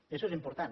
i això és important